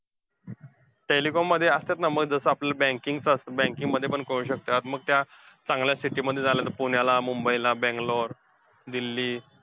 Telecom मध्ये असत्यात ना. मग जसं आपल्याला banking चं असतं, banking मध्ये पण करू शकत्यात. मग त्या चांगल्या city मध्ये झालं तर पुण्याला, मुंबईला, बेंगलोर, दिल्ली